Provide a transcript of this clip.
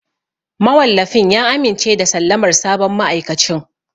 Mawallafin ya amince da sallamar sabon ma'aikacin.